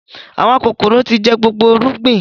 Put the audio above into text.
Àwọn kòkòrò tí jẹ gbogbo irúgbìn